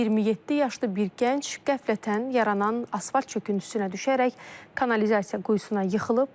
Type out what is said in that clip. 27 yaşlı bir gənc qəflətən yaranan asfalt çöküntüsünə düşərək kanalizasiya quyusuna yıxılıb.